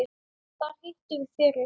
Þar hittum við fyrir